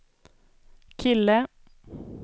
kille